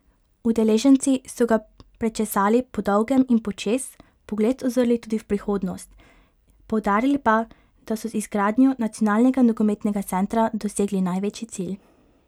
Udeleženci so ga prečesali podolgem in počez, pogled uzrli tudi v prihodnost, poudarili pa, da so z izgradnjo nacionalnega nogometnega centra dosegli največji cilj.